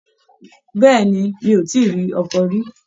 Béèni, mi o ti rí ọkọ rí.